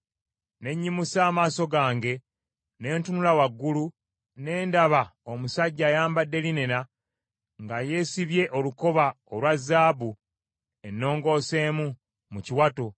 ne nnyimusa amaaso gange, ne ntunula waggulu, ne ndaba omusajja ayambadde linena, nga yeesibye olukoba olwa zaabu ennongooseemu mu kiwato.